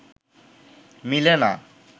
মিলে না